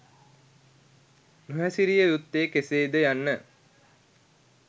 නොහැසිරිය යුත්තේ කෙසේද යන්න